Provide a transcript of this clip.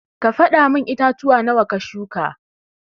Ka fada mun itatuwa nawa ka shuka.